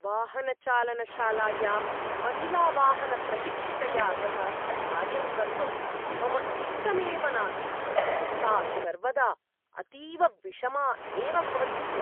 वाहनचालनशालायां महिलावाहनप्रशिक्षिकया सह कार्यं कर्तुं मम इष्टमेव नासीत्। सा सर्वदा अतीव विषमा एव भवति स्म।